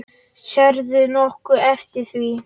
Sérðu nokkuð eftir því?